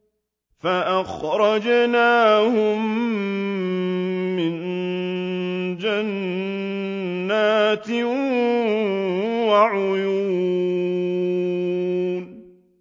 فَأَخْرَجْنَاهُم مِّن جَنَّاتٍ وَعُيُونٍ